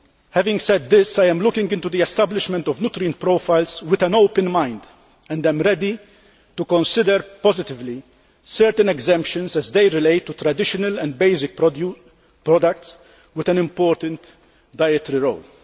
Having said this, I am looking into the establishment of nutrient profiles with an open mind and I am ready to consider positively certain exemptions as they relate to traditional and basic products with an important dietary role.